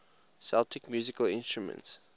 celtic musical instruments